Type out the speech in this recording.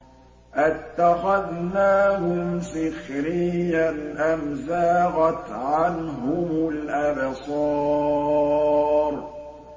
أَتَّخَذْنَاهُمْ سِخْرِيًّا أَمْ زَاغَتْ عَنْهُمُ الْأَبْصَارُ